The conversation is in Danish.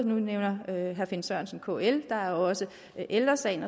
nu nævner herre finn sørensen kl og der er også ældre sagen